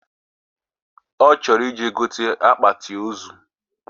Ochoro ije gote akpati ozuu